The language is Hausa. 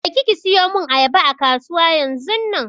Je ki ki siyo mun ayaba a kasuwa yanzunnan!